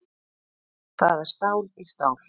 Það er stál í stál